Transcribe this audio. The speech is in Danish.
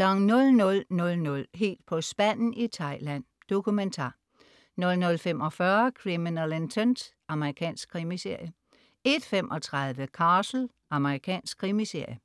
00.00 Helt på spanden i Thailand. Dokumentar 00.45 Criminal Intent. Amerikansk krimiserie 01.35 Castle. Amerikansk krimiserie